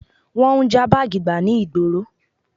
Wọ́n ń já báàgì gbà ní ìgboro